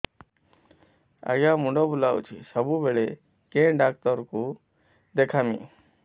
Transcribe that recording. ଆଜ୍ଞା ମୁଣ୍ଡ ବୁଲାଉଛି ସବୁବେଳେ କେ ଡାକ୍ତର କୁ ଦେଖାମି